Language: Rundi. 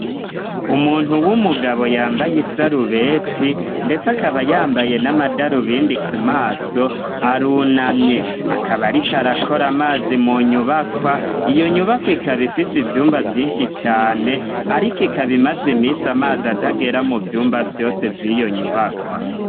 Umuntu w'umugabo yambaye isarubeti, ndetse akaba yambaye n'amadaru bindi ku maso aruna mye akabarik arakora amazi mu nyubakwa iyo nyubakwa ikabaifise ivyumba vyinshi cane, ariko ikabimaze imisi amazi atagera mu vyumba vyose vy'iyo nyubakwa.